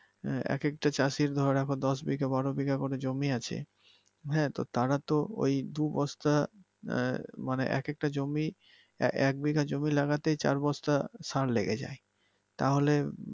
এক এক টা চাষির আবার ধরো আবার দশ বিঘা বারো বিঘা করে জমি আছে । হ্যাঁ তো তারা তো মানে দুই বস্তা মানে এক একটা জমি এক বিঘা জমি লাগাতেই চার বস্তা সার লেগে যায় তাহলে